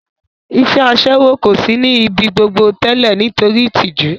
Iṣẹ́ Aṣẹ́wó kò sí ní ibi gbogbo tẹ́lẹ̀ nítorí ìtìjú